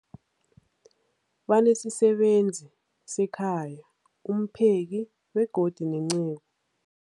Banesisebenzi sekhaya, umpheki, begodu nenceku.